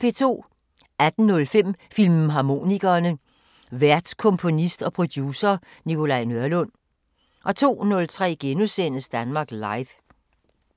18:05: Filmharmonikerne: Vært komponist og producer Nikolaj Nørlund 02:03: Danmark Live *